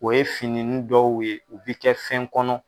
O ye fini nin dɔw ye u bɛ kɛ fɛn kɔnɔ.